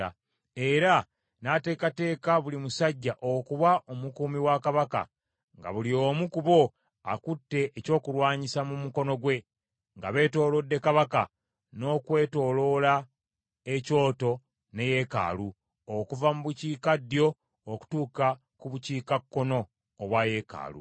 Era n’ateekateeka buli musajja okuba omukuumi wa kabaka, nga buli omu ku bo akutte ekyokulwanyisa mu mukono gwe, nga beetoolodde kabaka, n’okwetooloola ekyoto ne yeekaalu, okuva mu bukiikaddyo, okutuuka ku bukiikakkono obwa yeekaalu.